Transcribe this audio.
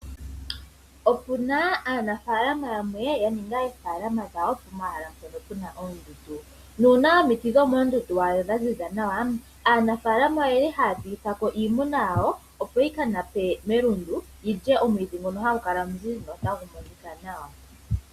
Opuna aanafaalama yamwe ya ninga oofaalama dhawo po mahala mpono puna oondundu. Nuuna omiti dho moondundu wa adha dhaziza nawa, aanafaalama oyeli haya piithako iimuna yawo opo yi ka nape melundu yilye omwiidhi ngono hagu kala omuzizi no tagu monika nawa.